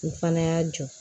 N fana y'a jɔ